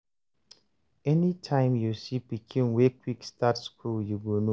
anytime you see pikin way quick start school, you go know